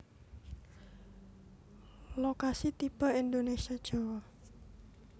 Lokasi tipe Indonesia Jawa